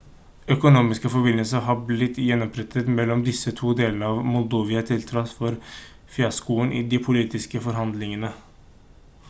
økonomiske forbindelser har blitt gjenopprettet mellom disse to delene av moldova til tross for fiaskoen i de politiske forhandlingene